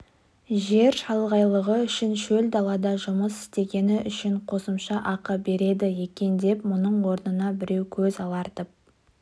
жер шалғайлығы үшін шөл далада жұмыс істегені үшін қосымша ақы береді екен деп мұның орнына біреу көз алартып